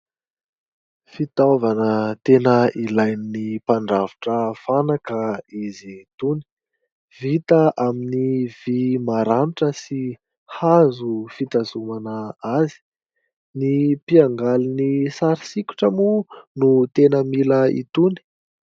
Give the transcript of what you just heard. Fitaovana tena ilain'ny mpandrafitra fanaka izy itony, vita amin'ny vý maranitra sy hazo fitazomana azy. Ny mpiangaly ny sary sikotra moa no tena mila itony.